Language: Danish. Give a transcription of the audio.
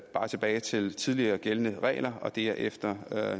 bare tilbage til tidligere gældende regler og det er efter